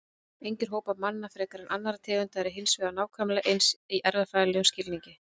Engir hópar manna frekar en annarra tegunda eru hins vegar nákvæmlega eins í erfðafræðilegum skilningi.